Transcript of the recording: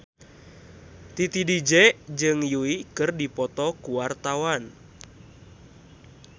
Titi DJ jeung Yui keur dipoto ku wartawan